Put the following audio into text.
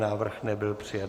Návrh nebyl přijat.